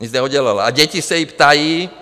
Nic neudělala a děti se jí ptají.